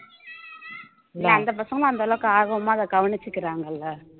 இல்ல அந்த பசங்களும் அந்த அளவுக்கு ஆர்வமா அதை கவனிச்சுக்கிறாங்கல்ல